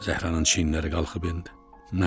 Zəhranın çiyinləri qalxıb-endi.